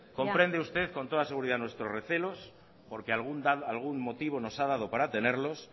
comprende usted con toda seguridad nuestros recelos porque algún motivo nos ha dado para tenerlos